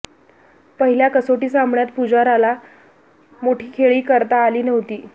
पहिल्या कसोटी सामन्यात पुजाराला मोठी खेळी करता आली नव्हती